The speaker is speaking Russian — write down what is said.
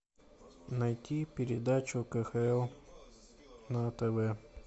найти передачу кхл на тв